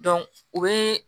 o bɛ